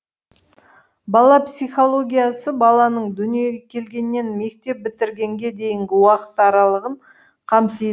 бала психологиясы баланың дүниеге келгеннен мектеп бітіргенге дейінгі уақыт аралығын қамти